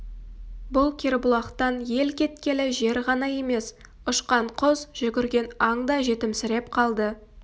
бұл кербұлақтан ел кеткелі жер ғана емес ұшқан құс жүгірген аң да жетімсіреп қалды